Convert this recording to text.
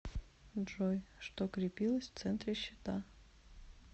джой что крепилось в центре щита